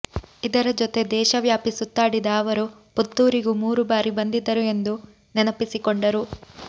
ಇದರ ಜೊತೆ ದೇಶವ್ಯಾಪಿ ಸುತ್ತಾಡಿದ ಅವರು ಪುತ್ತೂರಿಗೂ ಮೂರು ಬಾರಿ ಬಂದಿದ್ದರು ಎಂದು ನೆನಪಿಸಿಕೊಂಡರು